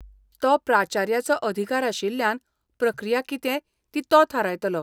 तो प्राचार्याचो अधिकार आशिल्ल्यान प्रक्रिया कितें ती तो थारायतलो.